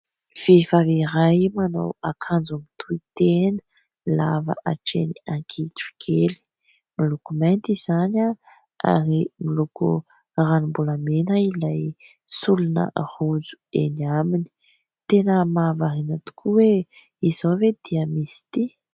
Vehivavy iray manao akanjo mitohitena, lava hatreny an-kitrokely. Miloko mainty izany ary miloko ranombolamena ilay solona rojo eny aminy. Tena mahavariana tokoa hoe izao ve dia misy tia ?